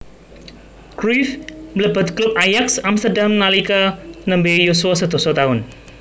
Cruyff mlebet klub Ajax Amsterdam nalika nembe yuswa sedasa taun